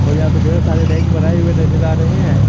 और यहां पर ढेर सारे रैक बनाए हुए नजर आ रहे हैं।